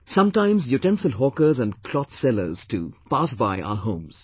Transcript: Sometimes utensil hawkers and cloth sellers too pass by our homes